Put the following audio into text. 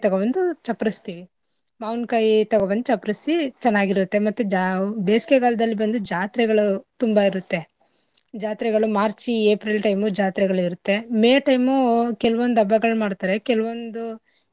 ತೊಗೊಬಂದು ಚಪ್ಪರ್ಸ್ತಿವಿ ಮಾವಿನ್ಕಾಯ್ ತೊಗೊಬಂದ್ ಚಪ್ಪರ್ಸಿ ಚೆನ್ನಾಗಿರುತ್ತೆ ಮತ್ತೆ ಜಾ~ ಬೇಸಿಕೆಗಾಲದಲ್ಲಿ ಬಂದು ಜಾತ್ರೆಗಳು ತುಂಬಾ ಇರುತ್ತೆ. ಜಾತ್ರೆಗಳು March, April time ಉ ಜಾತ್ರೆಗಳು ಇರುತ್ತೆ. May time ಉ ಕೆಲ್ವೊಂದ್ ಹಬ್ಬಗಳ್ ಮಾಡ್ತರೆ ಕೆಲ್ವೊಂದು.